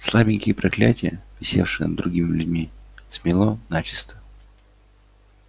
слабенькие проклятия висевшие над другими людьми смело начисто